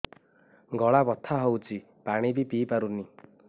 ଗଳା ବଥା ହଉଚି ପାଣି ବି ପିଇ ପାରୁନି